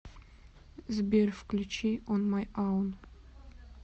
сбер включи он май аун